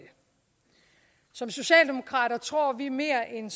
som socialdemokrater tror vi mere end